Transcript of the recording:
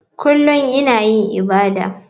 Kullum ina yin ibadata.